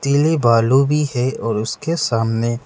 कही बालु भी है और उसके सामने --